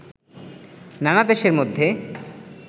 নানা দেশের মধ্যে